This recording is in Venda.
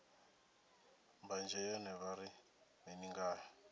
mbanzhe yone vha ri mini ngayo